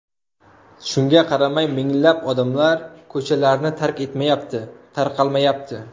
Shunga qaramay, minglab odamlar ko‘chalarni tark etmayapti, tarqalmayapti.